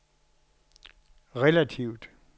relativt